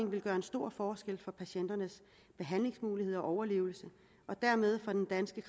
vil gøre en stor forskel for patienternes behandlingsmuligheder og overlevelse og dermed for den danske